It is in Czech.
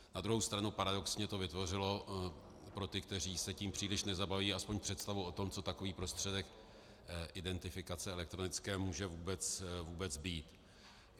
Na druhou stranu paradoxně to vytvořilo pro ty, kteří se tím příliš nezabývají, aspoň představu o tom, co takový prostředek identifikace elektronické může vůbec být.